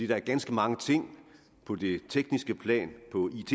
der er ganske mange ting på det tekniske plan